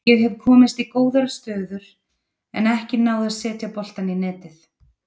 Ég hef komist í góðar stöður en ekki náð að setja boltann í netið.